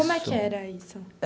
Como é que era isso?